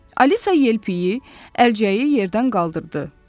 Alisa yelpiyi, əlcəyi yerdən qaldırdı.